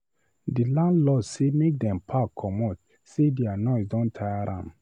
Di landlord sey make dem pack comot sey their noise don tire am.